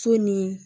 So ni